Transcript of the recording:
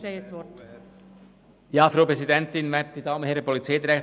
Ich erteile das Wort dem Motionär, Grossrat Klopfenstein.